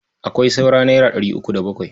Akwai saura naira ɗari uku da bakwai.